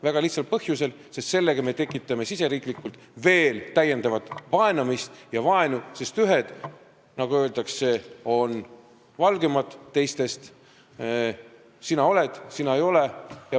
Väga lihtsal põhjusel: sellega me tekitaksime riigis veel täiendavalt vaenamist ja vaenu, sest ühed, nagu öeldakse, on siis teistest valgemad: sina oled, sina ei ole.